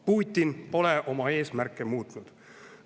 Putin pole oma eesmärke muutnud.